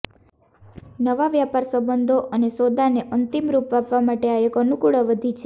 નવા વ્યાપાર સંબંધો અને સોદા ને અંતિમ રૂપ આપવા માટે આ એક અનુકુળ અવધી છે